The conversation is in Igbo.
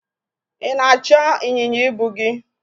ị na-achọ ịnyịnya ibu gi?